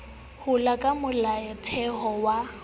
ho ya ka molaotheo wa